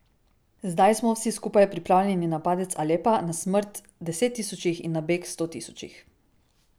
Zdaj smo, vsi skupaj, pripravljeni na padec Alepa, na smrt deset tisočih in na beg sto tisočih.